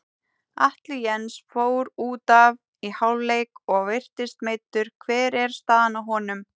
Atli Jens fór útaf í hálfleik og virtist meiddur, hver er staðan á honum?